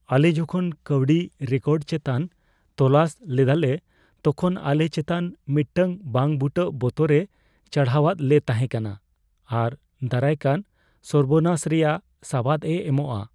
ᱟᱞᱮ ᱡᱚᱠᱷᱚᱱ ᱠᱟᱹᱣᱰᱤ ᱨᱮᱠᱚᱨᱰ ᱪᱮᱛᱟᱱ ᱛᱚᱞᱟᱥ ᱞᱮᱫᱟᱞᱮ, ᱛᱚᱠᱷᱚᱱ ᱟᱞᱮ ᱪᱮᱛᱟᱱ ᱢᱤᱫᱴᱟᱝ ᱵᱟᱝᱼᱵᱩᱴᱟᱹ ᱵᱚᱛᱚᱨᱼᱮ ᱪᱟᱲᱦᱟᱣᱟᱫ ᱞᱮ ᱛᱟᱦᱮᱸ ᱠᱟᱱᱟ ᱟᱨ ᱫᱟᱨᱟᱭᱠᱟᱱ ᱥᱚᱨᱵᱚᱱᱟᱥ ᱨᱮᱭᱟᱜ ᱥᱟᱵᱟᱫ ᱮ ᱮᱢᱚᱜᱼᱟ ᱾